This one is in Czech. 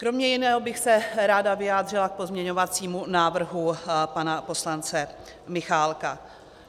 Kromě jiného bych se ráda vyjádřila k pozměňovacímu návrhu pana poslance Michálka.